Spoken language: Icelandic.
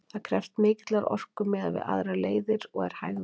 Það krefst mikillar orku miðað við aðrar leiðir og er hægvirkt.